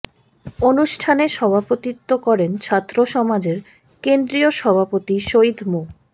অনুষ্ঠানে সভাপতিত্ব করেন ছাত্র সমাজের কেন্দ্রীয় সভাপতি সৈয়দ মো